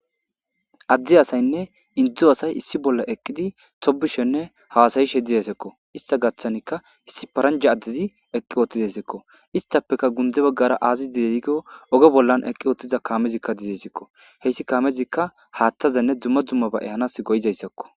Ade asayinne Indo asay issi bolla eqid hasa'ishene tobishe dizaysako , ista gathanka issi paranja adez eqid utidesko. Istappeka gunde bagara azi dize gizaysa gidikon oge bolla eqi utida Kamezika dizaysako , he Kamezika Hathazanne dumma dummaba ehanas go'izaysakko